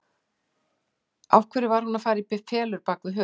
Af hverju hún var að fara í felur á bak við hurð.